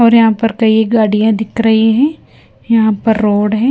और यहाँ पर कई गाड़ियाँ दिख रही हैं यहाँ पर रोड है।